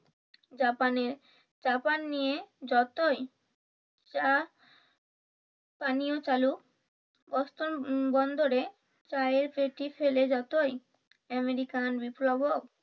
জাপানে চা পান নিয়ে যতই চা পানীয় চালু বন্দরে চায়ের পেটি ফেলে যতই আমেরিকা